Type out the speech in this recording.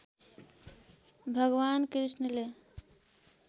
भगवान् कृष्णले